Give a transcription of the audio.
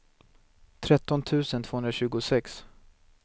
tretton tusen tvåhundratjugosex